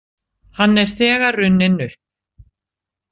Hann er þegar runninn upp.